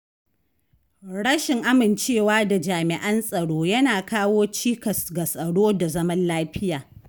Rashin amincewa da jami'an tsaro yana kawo cikas ga tsaro da zaman lafiya.